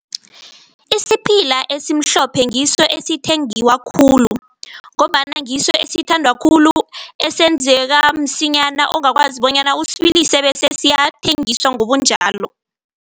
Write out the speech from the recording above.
Isiphila esimhlophe ngiso esithengiwa khulu ngombana ngiso esithandwa khulu, esenzeka msinyana, ongakwazi bonyana usibilise bese siyathengiswa ngobunjalo.